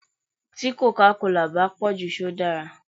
Tí còcá colà bá pòjù ṣé ó dára.